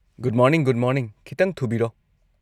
Good morning good morning; ꯈꯤꯇꯪ ꯊꯨꯕꯤꯔꯣ꯫